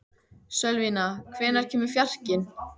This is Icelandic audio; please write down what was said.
Sölvína, hvenær kemur fjarkinn?